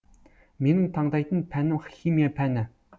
менің таңдайтын пәнім химия пәні